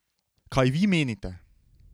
Kaj vi menite?